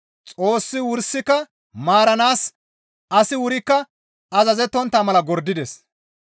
Xoossi wursika maaranaas asi wurikka azazettontta mala gordides.